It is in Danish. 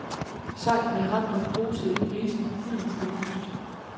Sejlene hang og posede i brisen, gyldent belyst.